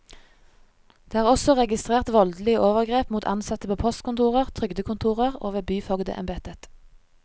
Det er også registrert voldelige overgrep mot ansatte på postkontorer, trygdekontorer og ved byfogdembetet.